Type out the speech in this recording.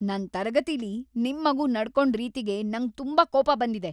ನನ್ ತರಗತಿಲಿ ನಿಮ್ ಮಗು ನಡ್ಕೊಂಡ್‌ ರೀತಿಗೆ ನಂಗ್‌ ತುಂಬಾ ಕೋಪ ಬಂದಿದೆ!